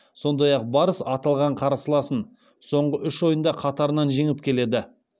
сондай ақ барыс аталған қарсыласын соңғы үш ойында қатарынан жеңіп келеді